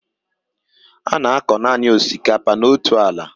A na-akọ nanị osikapa n'otu ala